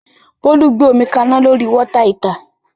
Bólú gbé omi kaná lórí Water heater